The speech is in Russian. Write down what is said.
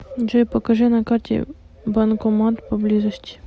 джой покажи на карте банкомат поблизости